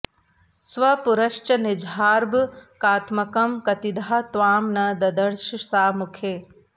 स्वपुरश्च निजार्भकात्मकं कतिधा त्वां न ददर्श सा मुखे